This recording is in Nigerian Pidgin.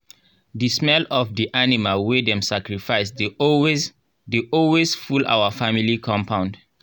the smell of the animal wey dem sacrifice dey always dey always full our family compound.